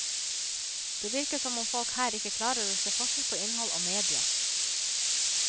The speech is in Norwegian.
Det virker som om folk her ikke klarer å se forskjell på innhold og mediet.